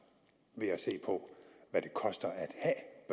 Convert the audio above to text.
ved at se på hvad det koster at